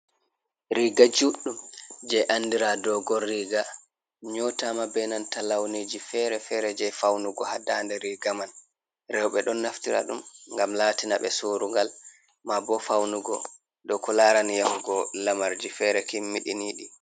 Riga juɗɗum je andira dogon riga nyotama be nanta launiji fere-fere je faunugo ha daande riga man. Rewɓe ɗon naftira ɗum ngam latina ɓe sorugal maabo faunugo dow ko larani yahugo lamarji fere kimmiɗiniɗi.